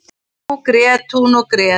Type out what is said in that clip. En nú grét hún og grét.